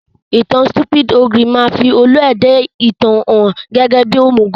Ìtan Stupid Ogre máa fi olú-ẹ̀dá ìtàn hàn gẹ́gẹ́ bí òmùgọ̀